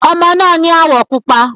Ọmọ náà ni áwọ̀ pupa.